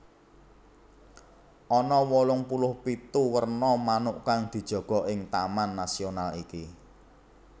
Ana wolung puluh pitu werna manuk kang dijaga ing taman nasional iki